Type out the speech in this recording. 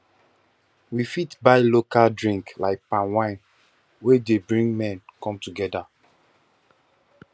we fit buy local drink like palm wine wey dey bring men come together